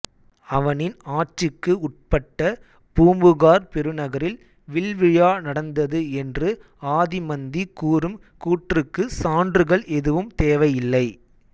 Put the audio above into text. அவனின் ஆட்சிக்கு உட்பட்ட பூம்புகார் பெருநகரில் வில்விழா நடந்தது என்று ஆதிமந்தி கூறும் கூற்றுக்கு சான்றுகள் எதுவும் தேவையில்லை